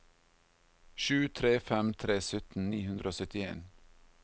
sju tre fem tre sytten ni hundre og syttien